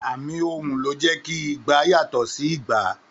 Àmì ohùn ló jẹ́ kí igba yàtọ̀ sí ìgbà.